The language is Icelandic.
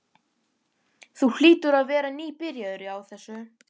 Þú hlýtur að vera nýbyrjaður á þessu.